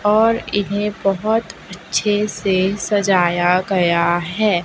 और इन्हें बहोत अच्छे से सजाया गया है।